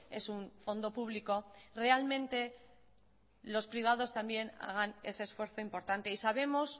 es un fondo público realmente los privados también hagan ese esfuerzo importante y sabemos